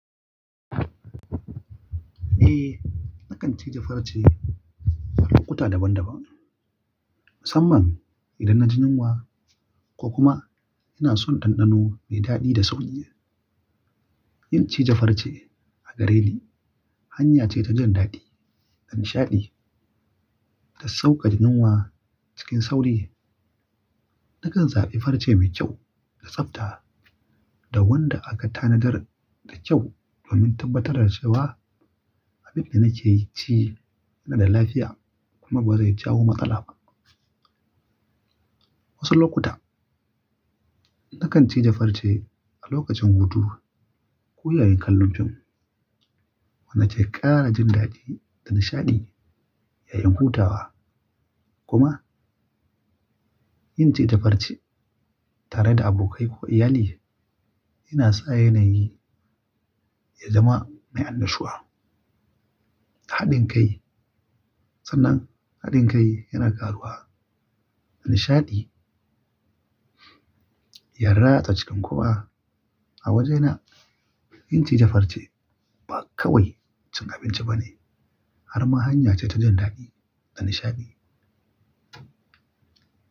Eh, nakan ciji farce a lokuta daban-daban, musamman idan na jin yunwa ko kuma ina son ɗanɗano mai daɗi da sauƙi. Yin cije farci a gare ni hanya ce ta jin daɗi, da nishaɗi, da saukaƙa jin yunwa cikin sauri. Nakan zaɓi farce mai kyau da tsafta da wanda aka tanadar da kyau domin tabbatar da cewa abin da nake ci yana da lafiya kuma ba zai jawo matsala ba. Wasu lokuta, nakan ci jafarci a lokacin hutu ko yayin kallon fim, wanda ke ƙara jin daɗi da nishaɗi yayin hutawa. Kuma yin cije farce tare da abokai ko iyali yana sa yanayi ya zama mai annashuwa. Haɗin kai, sanan haɗin kai yana karuwa da nishaɗi, yara ta cikin kowa. A wajena yin ci je farce ba kawai cin abinci ba ne, har ma hanya ce ta jin daɗi da nishaɗi.